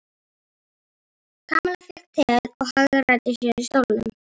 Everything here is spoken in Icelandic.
Kamilla fékk teið og hagræddi sér á stólnum.